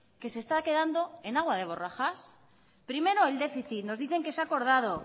que se está quedando en agua de borrajas primero el déficit nos dicen que se ha acordado